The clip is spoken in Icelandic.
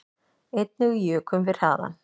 Einnig jukum við hraðann